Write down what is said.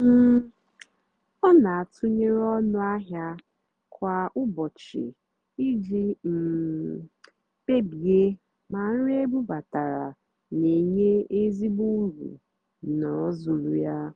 um ọ́ nà-àtụ́nyeré ónú àhịá kwá ụ́bọ̀chị́ ìjì um kpèbíè mà nrì ébúbátárá nà-ènyé ézìgbò ùrù n'òzúlà yá.